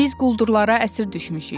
Biz quldurlara əsir düşmüşük.